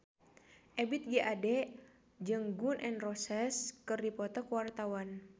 Ebith G. Ade jeung Gun N Roses keur dipoto ku wartawan